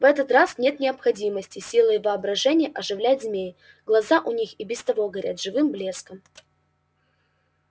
в этот раз нет необходимости силой воображения оживлять змей глаза у них и без того горят живым блеском